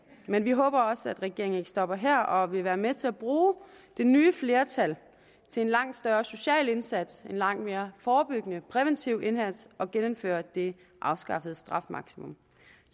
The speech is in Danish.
men vi håber også at regeringen ikke stopper her og vil være med til at bruge det nye flertal til en langt større social indsats en langt mere forebyggende præventiv indsats og genindfører det afskaffede strafmaksimum